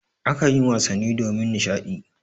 A kanyi wasanni domin nishaɗi.